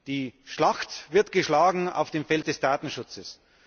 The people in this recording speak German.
Die Schlacht wird geschlagen auf dem Feld des Datenschutzes.